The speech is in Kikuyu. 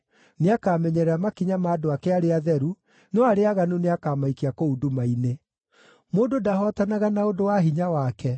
Nĩakamenyerera makinya ma andũ ake arĩa atheru, no arĩa aaganu nĩakamaikia kũu nduma-inĩ. “Mũndũ ndahootanaga na ũndũ wa hinya wake;